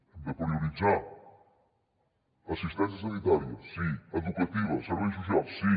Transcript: hem de prioritzar assistència sanitària sí educativa serveis socials sí